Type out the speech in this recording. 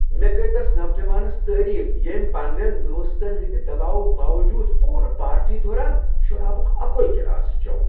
مے٘ کٔرۍ تس نوجوانس تعریف ییٚمۍ پننین دوستن ہنٛدِ دباوٕ باوجود پوٗرٕ پارٹی دوران شرابک اکوے گلاسہٕ چو ۔